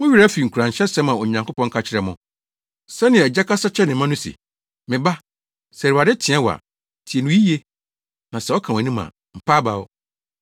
Mo werɛ afi nkuranhyɛsɛm a Onyankopɔn ka kyerɛɛ mo, sɛnea agya kasa kyerɛ ne mma no? Se, “Me ba, sɛ Awurade teɛ wo a, tie no yiye, na sɛ ɔka wʼanim a, mpa abaw.